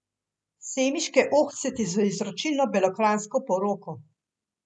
Semiške ohceti z izročilno belokranjsko poroko.